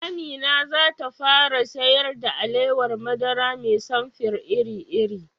Amina zata fara siyar da alawar madara mai samfir iri-iri